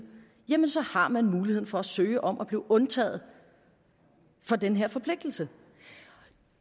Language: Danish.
jamen så har man muligheden for at søge om at blive undtaget fra den her forpligtelse